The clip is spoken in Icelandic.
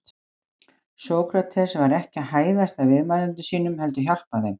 Sókrates var ekki að hæðast að viðmælendum sínum heldur hjálpa þeim.